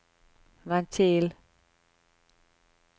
ventil